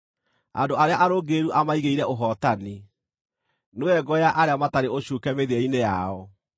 Andũ arĩa arũngĩrĩru amaigĩire ũhootani, nĩwe ngo ya arĩa matarĩ ũcuuke mĩthiĩre-inĩ yao,